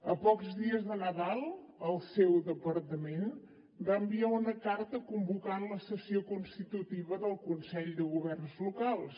a pocs dies de nadal el seu departament va enviar una carta convocant la sessió constitutiva del consell de governs locals